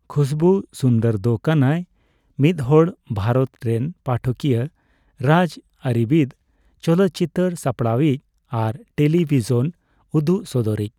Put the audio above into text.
ᱠᱷᱩᱥᱵᱩ ᱥᱩᱱᱫᱚᱨ ᱫᱚ ᱠᱟᱱᱟᱭ ᱢᱤᱫᱦᱚᱲ ᱵᱷᱟᱨᱚᱛ ᱨᱮᱱ ᱯᱟᱴᱷᱚᱠᱤᱭᱟ, ᱨᱟᱡᱽᱟᱹᱨᱤᱵᱤᱫᱽ, ᱪᱚᱞᱚᱛᱪᱤᱛᱟᱹᱨ ᱥᱟᱯᱲᱟᱣᱤᱡ ᱟᱨ ᱴᱮᱞᱤᱵᱷᱤᱥᱚᱱ ᱩᱫᱩᱜ ᱥᱚᱫᱚᱨᱤᱡ ᱾